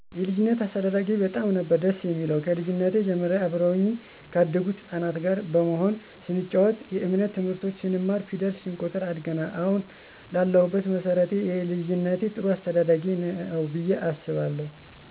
የልጂነት አስተዳደጊ በጣም ነበር ደስ የሚለው ከልጂነት ጀምሬ አብረውኚ ካደጉት ህጻናት ጋር በመሆን ስንጨዋት የእምነት ትምህርቶችን ስንማር ፌደል ስንቆጥር አድገናል አሀን ለሁበት መሠረቴ ይህ የልጂነት ጥሩ አስተዳደጌ ነው ብየ አስባለሁ።